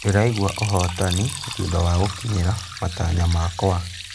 Ndĩraigua ũhotani thutha wa gũkinyĩra matanya makwa.